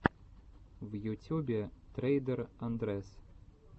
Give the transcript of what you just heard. в ютюбе трейдер андрэс